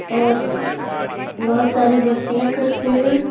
और बहुत सारी मस्तियां करते हैं।